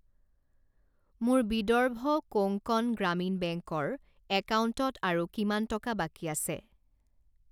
মোৰ বিদৰ্ভ কোংকণ গ্ৰামীণ বেংক ৰ একাউণ্টত আৰু কিমান টকা বাকী আছে?